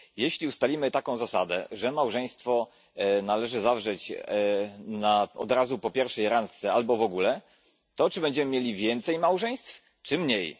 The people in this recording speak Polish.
Jeśli ustalimy taką zasadę, że małżeństwo należy zawrzeć od razu po pierwszej randce albo w ogóle, to czy będziemy mieli więcej małżeństw czy mniej?